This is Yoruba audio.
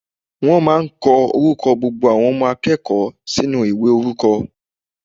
Wọ́n máà ń kọ orúkọ gbogbo àwọn akẹ́kọ̀ọ́ sínú ìwé orúkọ.